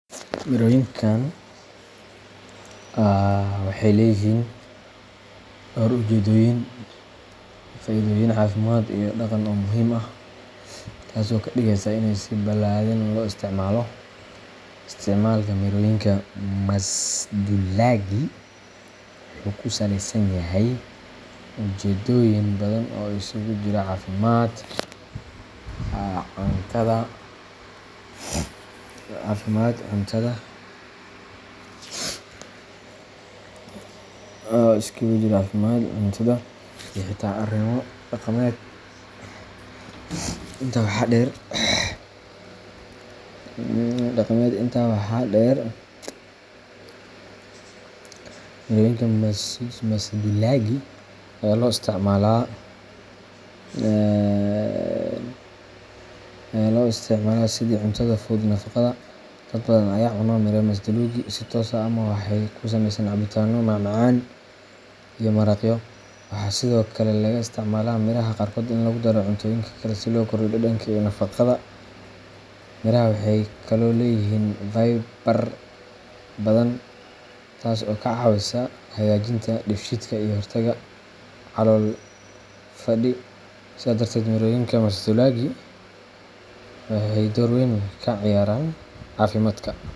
Mirooyinkan waxay leeyihiin dhowr ujeedooyin iyo faa’iidooyin caafimaad iyo dhaqan oo muhiim ah, taas oo ka dhigaysa inay si balaadhan loo isticmaalo. Isticmaalka mirooyinka masduulaagii wuxuu ku saleysan yahay ujeedooyin badan oo isugu jira caafimaad, cuntada, iyo xitaa arrimo dhaqameed. Intaa waxaa dheer, mirooyinka masduulaagii ayaa loo isticmaalaa sidii cuntada fudud ee nafaqada leh. Dad badan ayaa cuna miro masduulaagii si toos ah ama waxay ka sameeyaan cabitaano, macmacaan, ama maraqyo. Waxaa sidoo kale laga isticmaalaa miiraha qaarkood in lagu daro cuntooyinka kale si loo kordhiyo dhadhanka iyo nafaqada. Mirahaasi waxay kaloo leeyihiin fiber badan, taas oo ka caawisa hagaajinta dheefshiidka iyo ka hortagga calool-fadhi. Sidaa darteed, mirooyinka masduulaaga waxay door weyn ka ciyaaraan caafimaadka .